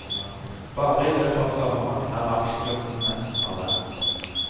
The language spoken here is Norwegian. Bare i løpet av sommeren er aksjekursen nesten halvert.